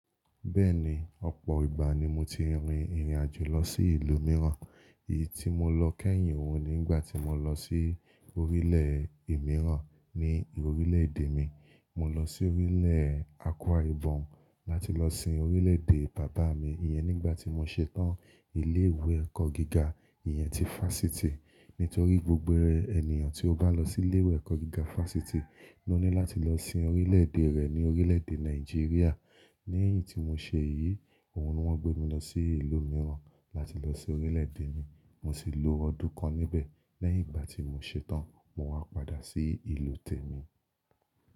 Bẹ́ẹ̀ni, ọ̀pọ̀ ìgbà ni mo ti rin ìrìn àjò lọ sí ìlú mìíràn. Èyí tí mo lọ kẹ́yìn òun ni nígbà tí mo lọ sí orílẹ̀ mìíràn ni orílẹ̀-èdè mi. Mo lọ sí orílẹ̀ Akwa Ibom láti lọ sin orílẹ̀-èdè bàbá mi iyẹn nígbà tí mo ṣetán ilé ìwé ẹ̀kọ́ gíga, ìyẹn ti Fásitì. Nítorí gbogbo ènìyàn tí ó bá lọ sí ilé ìwé ẹ̀kọ́ gíga Fásitì ló ní láti lọ sin orílẹ̀-èdè rẹ̀ ní orílẹ̀-èdè Nàìjíríà. Ní eyín tí mo ṣe èyí, òun ni wọ́n gbé mi lọ sí ìlú mìíràn láti lọ sin orílẹ̀-èdè mi. Mo sì lo ọdún kan níbẹ̀, lẹ́yìn ìgbà tí mo ṣetán, mo wá padà sí ìlú tèmi.